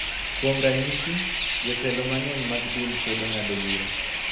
Kuom ranyisi, jotelo mang�eny mag din kwedo ng�ado bura .